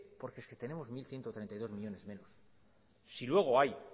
porque es que tenemos mil ciento treinta y dos millónes menos si luego hay